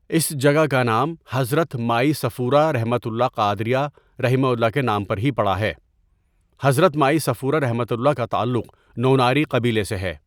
اس جگہ کا نام حضرت مائی صفورہ ؒقادریہ رحہ کے نام پر ہی پڑا ہے حضرت مائی صیفورہ ؒ کا تعلق نوناری قبیلہ سے ہے.